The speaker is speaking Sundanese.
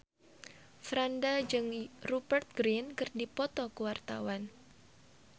Franda jeung Rupert Grin keur dipoto ku wartawan